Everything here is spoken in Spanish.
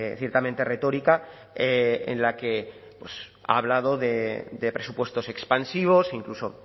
ciertamente retórica en la que ha hablado de presupuestos expansivos incluso